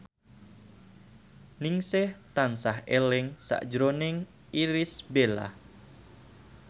Ningsih tansah eling sakjroning Irish Bella